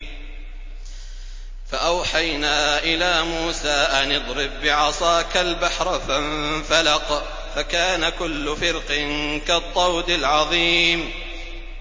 فَأَوْحَيْنَا إِلَىٰ مُوسَىٰ أَنِ اضْرِب بِّعَصَاكَ الْبَحْرَ ۖ فَانفَلَقَ فَكَانَ كُلُّ فِرْقٍ كَالطَّوْدِ الْعَظِيمِ